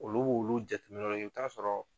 Olu b'olu jateminɛ de kɛ i bi t'a sɔrɔ.